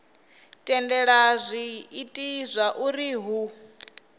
tendelela zwi ita zwauri hu